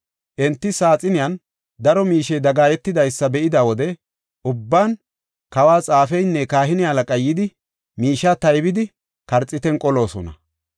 Enti saaxiniyan daro miishey dagaayetidaysa be7ida wode ubban, kawo xaafeynne kahine halaqay yidi, miishiya taybidi, karxiitan qoloosona.